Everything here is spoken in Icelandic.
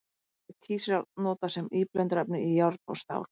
Í öðru lagi er kísiljárn notað sem íblöndunarefni í járn og stál.